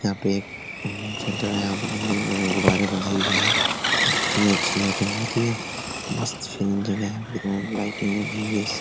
यहाँ पे सेंटर है यहाँ पे देखिए नए-नए गुब्बारे बंधे हुए हैं कितनी अच्छी लाइटिंग होती है मस्त सीन जगह है यहाँ पे लाइटिंग की --